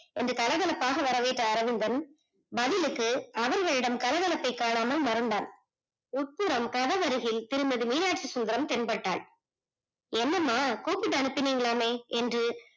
என்று கலகலப்பாக வரவேற்ற அரவிந்தன் பதிலுக்கு அவர்களிடம் கலகலப்பை காணாமல் மறந்தான் உட்புறம் கதவு அருகில் திருமதி மீனாச்சிசுந்தரம் தென்பட்டால் என்ன அம்மா கூப்பிட்டு அனுப்பினங்கலாமே